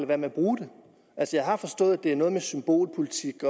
være med at bruge det jeg har forstået at det har noget med symbolpolitik